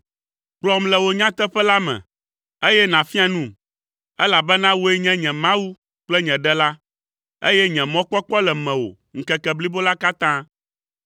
kplɔm le wò nyateƒe la me, eye nàfia num, elabena wòe nye nye Mawu kple nye Ɖela, eye nye mɔkpɔkpɔ le mewò ŋkeke blibo la katã.